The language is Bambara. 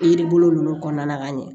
Yiri bolo nunnu kɔnɔna na ka ɲɛ